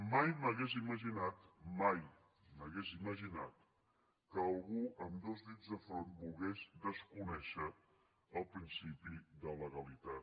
mai m’hauria imaginat mai m’ho hauria imaginat que algú amb dos dits de front volgués desconèixer el principi de legalitat